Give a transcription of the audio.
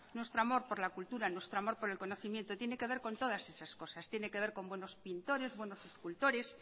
nuestro amor por la cultura nuestro amor por el conocimiento tiene que ver con todas esas cosas tiene que ver con buenos pintores buenos escultores